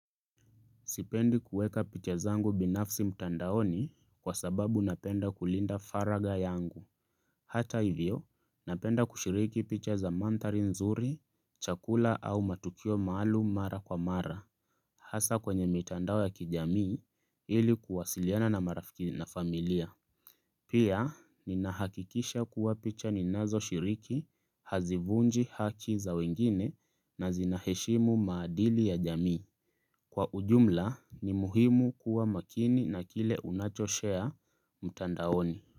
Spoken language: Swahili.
Sipendi kueka picha zangu binafsi mtandaoni kwa sababu napenda kulinda faragha yangu. Hata hivyo, napenda kushiriki picha za mandhari nzuri, chakula au matukio maalum mara kwa mara. Hasa kwenye mitandao ya kijamii ili kuwasiliana na marafiki na familia. Pia, ninahakikisha kuwa picha ninazoshiriki, hazivunji haki za wengine na zinaheshimu maadili ya jamii. Kwa ujumla ni muhimu kuwa makini na kile unacho-share mtandaoni.